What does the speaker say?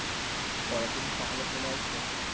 পরের দিনই সকালে চলে আসবো?